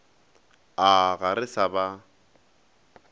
a ga re sa ba